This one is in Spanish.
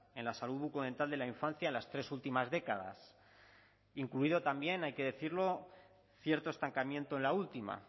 en la salud bucodental de la infancia en las tres últimas décadas incluido también hay que decirlo cierto estancamiento en la última